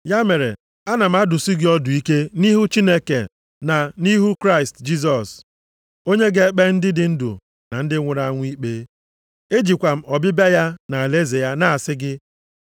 Ya mere, ana m adụsi gị ọdụ ike nʼihu Chineke na nʼihu Kraịst Jisọs, onye ga-ekpe ndị dị ndụ na ndị nwụrụ anwụ ikpe. Ejikwa m ọbịbịa ya na alaeze ya na-asị gị,